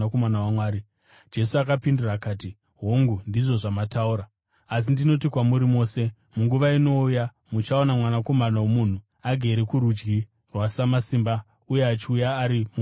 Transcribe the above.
Jesu akapindura akati, “Hongu, ndizvo zvamataura. Asi ndinoti kwamuri mose: Munguva inouya muchaona Mwanakomana woMunhu agere kurudyi rwaSamasimba uye achiuya ari mumakore okudenga.”